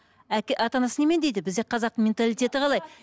ата анасы немене дейді бізде қазақ менталитеті қалай